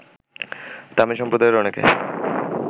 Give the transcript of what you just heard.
তামিল সম্প্রদায়ের অনেকে